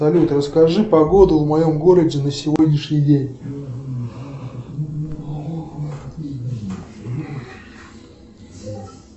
салют расскажи погоду в моем городе на сегодняшний день